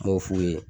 N b'o f'u ye